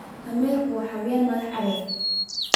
damerku waa xayawaan madax adag.